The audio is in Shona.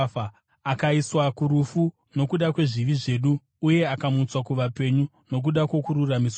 Akaiswa kurufu nokuda kwezvivi zvedu uye akamutswa kuvapenyu nokuda kwokururamisirwa kwedu.